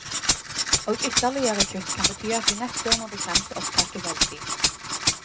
Og ytterligere kutt kan bety at vi neste år må begrense opptaket veldig.